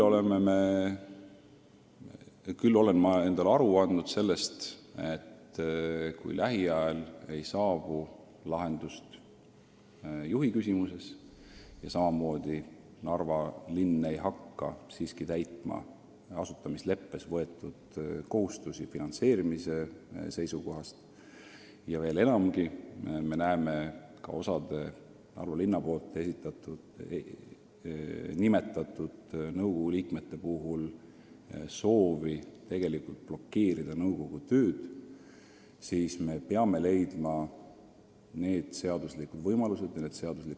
Samas olen ma endale aru andnud, et kui lähiajal ei saabu lahendust juhi küsimuses ja Narva linn endiselt ei hakka asutamisleppes võetud finantseerimiskohustusi täitma, kui osa Narva linna nimetatud nõukogu liikmeid soovib lausa blokeerida nõukogu tööd, siis me peame leidma seaduslikud võimalused mingiks lahenduseks.